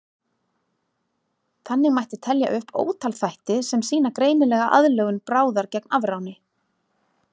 Þannig mætti telja upp ótal þætti sem sýna greinilega aðlögun bráðar gegn afráni.